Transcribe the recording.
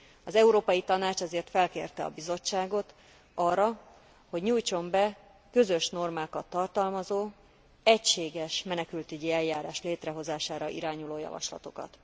Az Európai Tanács ezért felkérte a Bizottságot arra, hogy nyújtson be közös normákat tartalmazó, egységes menekültügyi eljárás létrehozására irányuló javaslatokat.